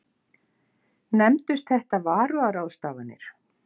Nefndust þetta varúðarráðstafanir.